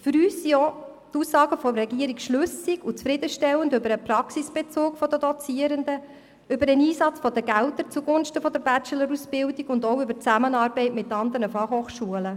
Für uns sind auch die Aussagen der Regierung schlüssig und zufriedenstellend, was den Praxisbezug der Dozierenden betrifft sowie den Einsatz der Gelder zugunsten der Bachelor-Ausbildung und die Zusammenarbeit mit anderen FH.